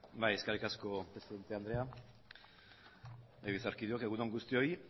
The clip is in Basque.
bai eskerrik asko presidente andrea legebiltzarkideok egun on guztioi